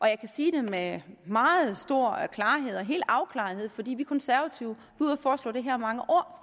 jeg kan sige det med meget stor klarhed og helt afklarethed fordi vi konservative ude at foreslå det her mange år